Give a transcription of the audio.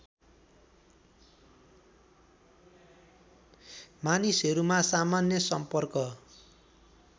मानिसहरूमा सामान्य सम्पर्क